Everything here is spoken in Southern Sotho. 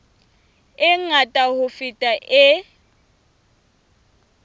e ngata ho feta e